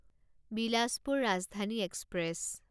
Bilaspur Rajdhani express